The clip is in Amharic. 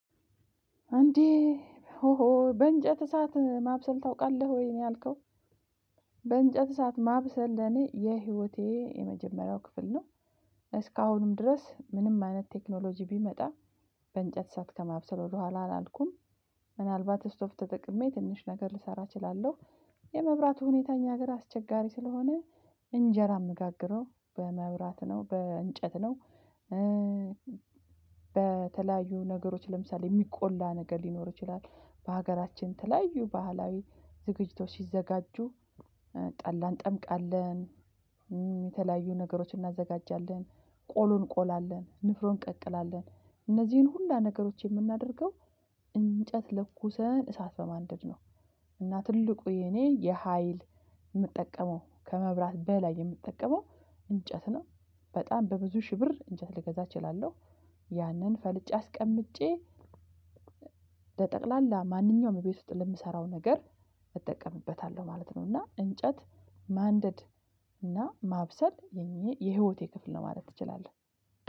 አንዴ ሆሆ በእንጨት እሳት ማብሰል ታውቃለህ ወይ ነው ያልከው? በእንጨት እሳት ማብሰል ለኔ የህይወቴ የመጀመሪያው ክፍል ነው። እስካሁንም ድረስ ምንም አይነት ቴክኖሎጂ ቢመጣ። በእንጨት ሰዓት ከማብሰል ወደኋላ አላልኩም። ምናልባት ስቶፍ ተጠቅሜ ትንሽ ነገር ልሰራ እችላለሁ። የመብራቱ ሁኔታ እኛ ሀገር አስቸጋሪ ስለሆነ እንጀራ አምጋግረው በመብራት ነው በእንጨት ነው። በተለያዩ ነገሮች ለምሳሌ የሚቆላ ነገር ሊኖር ይችላል በሀገራችን ተለያዩ ባህላዊ ዝግጅቶ ሲዘጋጁ። ጠላን ጠምቃለን። የተለያዩ ነገሮችን እናዘጋጃለን። ቆሉን እኝቆላለን ንፍሮን እንቀቅላለን እነዚህን ሁሉ ነገሮች የምናደርገው እንጨት ለኩሰን እሳት በማንደድ ነው። እና ትልቁ የኔ የሀይል የምጠቀመው ከመብራት በላይ የምጠቀመው እንጨት ነው። በጣም በብዙ ሺህ ብር እንጨት ልገዛ እችላለሁ። ያንን ፈልጬ አስቀምጬ። ለጠቅላላ ማንኛውም እቤት ውስጥ ለምሰራው ነገር እጠቀምበታለሁ ማለት ነው። እና እንጨት ማንደድ እና ማብሰል የኔ የህይወቴ ክፍል ነው ማለት ትችላለህ።